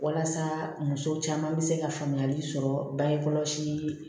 Walasa muso caman bɛ se ka faamuyali sɔrɔ bange kɔlɔsi